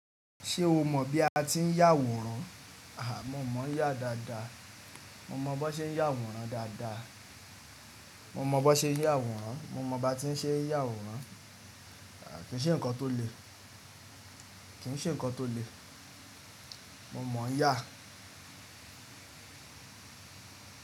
Ṣé o mọ̀ bí a ti ń yàwòrán? Àhà, mo mọ̀ yà dáadáa. Mo mọ bọn ṣe ń yàwòrán dáadáa. Mo mọ bọn ṣe ń yàwòrán. Mo mọ ba ti ń ṣe yàwòrán. Kì í ṣe nǹkan tó le. Kì í ṣe nǹkan tó le. Mo mọ̀ yà.